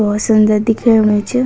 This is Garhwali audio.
बहौत सुन्दर दिखेणु च।